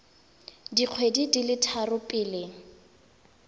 dikgwedi di le tharo pele